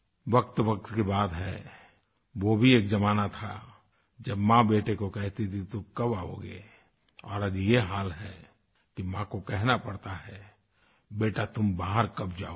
वक़्तवक़्त की बात है वो भी एक ज़माना था जब माँ बेटे को कहती थी कि तुम कब आओगे और आज ये हाल है कि माँ को कहना पड़ता है बेटा तुम बाहर कब जाओगे